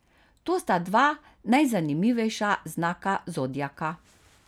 To sta dva najzanimivejša znaka zodiaka.